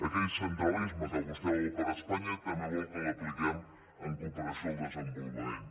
aquell centralisme que vostè vol per a espanya tam bé vol que l’apliquem en cooperació al desenvolupament